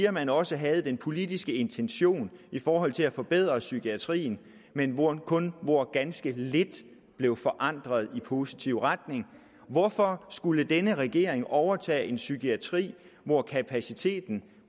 at man også havde den politiske intention i forhold til at forbedre psykiatrien men hvor kun ganske lidt blev forandret i positiv retning hvorfor skulle denne regering overtage en psykiatri hvor kapaciteten